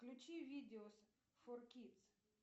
включи видео фор кидс